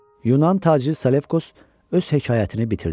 Yunan tacir Selevkos öz hekayətini bitirdi.